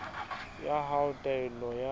ya hao ya taelo ya